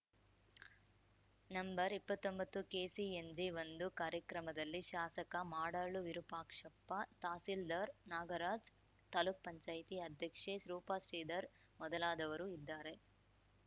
ನಂಬರ್ಇಪ್ಪತ್ತೊಂಬತ್ತುಕೆಸಿಎನ್ಜಿಒಂದು ಕಾರ್ಯಕ್ರಮದಲ್ಲಿ ಶಾಸಕ ಮಾಡಾಳು ವಿರೂಪಾಕ್ಷಪ್ಪ ತಹಶೀಲ್ದಾರ್‌ ನಾಗರಾಜ್‌ ತಾಲೂಕು ಪಂಚಾಯ್ತಿ ಅಧ್ಯಕ್ಷೆ ರೂಪಶ್ರೀಧರ್‌ ಮೊದಲಾದವರು ಇದ್ದಾರೆ